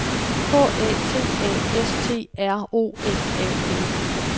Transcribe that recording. K A T A S T R O F A L